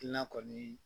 Na kɔni